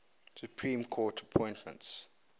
supreme court appointments